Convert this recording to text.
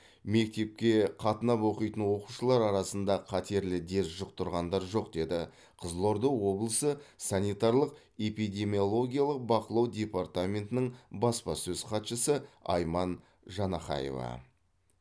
мектепке қатынап оқитын оқушылар арасында қатерлі дерт жұқтырғандар жоқ деді қызылорда облысы санитарлық эпидемиологиялық бақылау департаментінің баспасөз хатшысы айман жанахаева